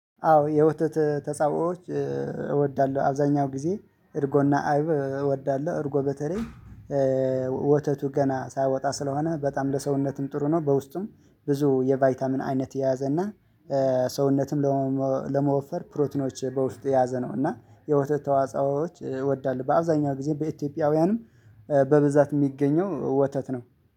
አዎ የወተት ተጻዕቦች እወዳለሁ አብዛኛው ጊዜ እርጎና አይብ እወዳለሁ። እርጎ በተለይ ወተቱ ገና ሳያወጣ ስለሆነ በጣም ለሰውነትም ጥሩ ነው። በውስጡም ብዙ የቫይታሚን አይነት እና ሰውነትም ለመወፈር ፕሮቲኖች በውስጥ የያዘ ነው። እና የወተት ተዋጽኦዎች ይወዳሉ በአብዛኛው ጊዜ በኢትዮጵያውያንም በብዛት የሚገኘው ወተት ነው።